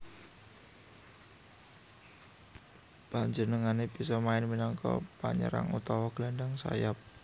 Panjenengané bisa main minangka penyerang utawa gelandang sayap